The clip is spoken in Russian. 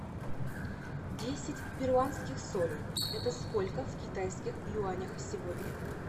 десять перуанских солей это сколько в китайских юанях сегодня